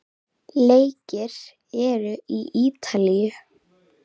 Leikið er í Ítalíu.